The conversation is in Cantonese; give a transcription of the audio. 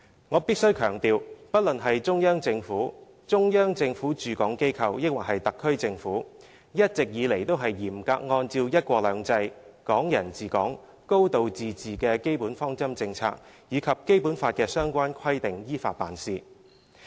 我必須強調，不論是中央政府、中央政府駐港機構抑或是特區政府，一直以來都是嚴格按照"一國兩制"、"港人治港"、"高度自治"的基本方針政策，以及《基本法》的相關規定，依法辦事。